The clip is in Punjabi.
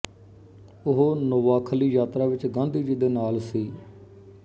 ਉਹ ਨੋਵਾਖਲੀ ਯਾਤਰਾ ਵਿੱਚ ਗਾਂਧੀ ਜੀ ਦੇ ਨਾਲ ਸੀ